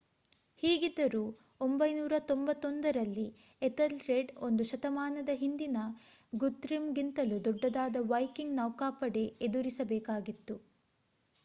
ಹೀಗಿದ್ದರೂ 991 ರಲ್ಲಿ ಎಥಲ್ರೆಡ್ ಒಂದು ಶತಮಾನದ ಹಿಂದಿನ ಗುತೃಮ್ ಗಿಂತಲೂ ದೊಡ್ಡದಾದ ವೈಕಿಂಗ್ ನೌಕಾಪಡೆ ಎದುರಿಸ ಬೇಕಾಗಿತ್ತು